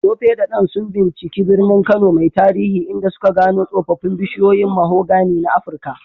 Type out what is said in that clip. Tope da Dan sun binciki birnin Kano mai tarihi, inda suka gano tsoffin bishiyoyin mahogany na Afirka.